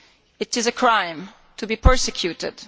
It is a crime to be persecuted.